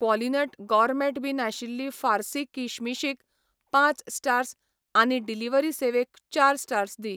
क्वॉलिनट gourmet बीं नाशिल्लीं फार्सी किशमिश क पांच स्टार्स आनी डिलिव्हरी सेवेक चार स्टार्स दी.